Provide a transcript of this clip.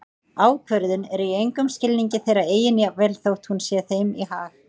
Ákvörðunin er í engum skilningi þeirra eigin jafnvel þótt hún sé þeim í hag.